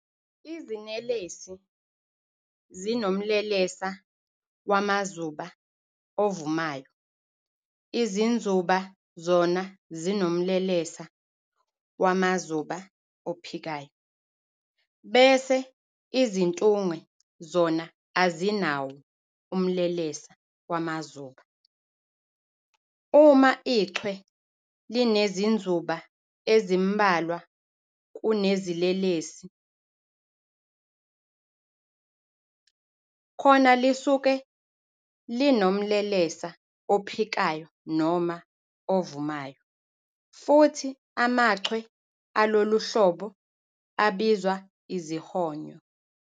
Izinelesi zinomlelesa wamazuba ovumayo, izinzuba zona zinomlelesa wamazuba ophikayo, bese izintunge zona azinawo umlelesa wamazuba. Uma ichwe linezinzuba ezimbalwa kunezinelesi, khona lisuke linomlelesa ophikayo noma ovumayo, futhi amachwe aloluhlobo abizwa izihonyo.